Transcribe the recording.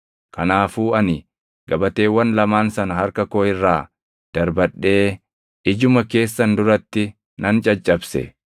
Kanaafuu ani gabateewwan lamaan sana harka koo irraa darbadhee ijuma keessan duratti nan caccabse.